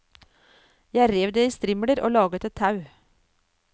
Jeg rev det i strimler og laget et tau.